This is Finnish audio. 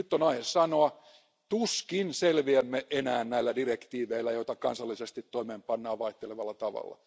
Nyt on aihetta sanoa, että tuskin selviämme enää näillä direktiiveillä, joita kansallisesti toimeenpannaan vaihtelevalla tavalla.